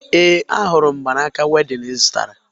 Ee, ahụrụ m mgbanaaka wedịn ị zụtata